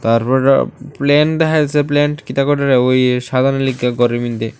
তারপইরা plane দেখা যাইছে ওই সাজানোর লইগা ঘরের ভিতরে।